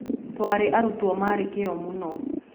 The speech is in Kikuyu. Twarĩ arutwo marĩ kĩyo mũno.